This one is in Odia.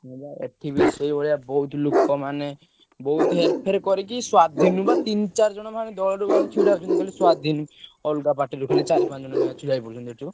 ହଁ ବା ଏଠିବି ସେଇଭଳିଆ ବୋହୁତ ଲୋକ ମାନେ ବୋହୁତ ହେରଫେର କରିକି ସ୍ବାଧୀନ ବା ତିନ ଚାରିଜଣ ଦଳ ଫଳରୁ ବା ଛିଡା ହଉଛନ୍ତି ଖାଲି ସ୍ବାଧୀନ, ଅଲଗା party ରୁ ଚାରି ପାଞ୍ଚ ଜଣ ଛିଡା ହେଇଯାଉଛନ୍ତି ଏଠୁ।